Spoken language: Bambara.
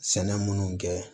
Sɛnɛ minnu kɛ